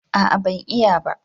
A'a ban iya ba